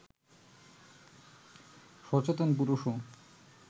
সচেতন পুরুষও